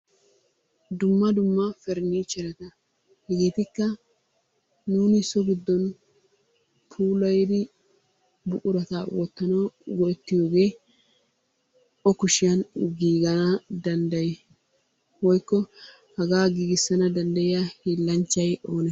Dumma dumma periniichchereta. Hegeetikka nuuni so giddon puulayidi buqurata wottanawu go'ettiyogee o kushiyan giigana danddayi? Woyikko hagaa giigissana danddayiya hiillanchchay oonee?